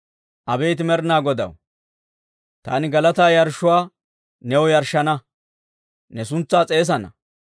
Abeet Med'inaa Godaw, taani galataa yarshshuwaa new yarshshana; ne suntsaa s'eesana.